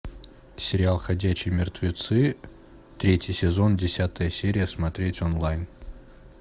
сериал ходячие мертвецы третий сезон десятая серия смотреть онлайн